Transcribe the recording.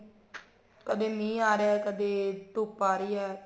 ਕਦੇ ਮੀਹ ਆ ਰਿਹਾ ਕਦੇ ਧੁੱਪ ਆ ਰਹੀ ਏ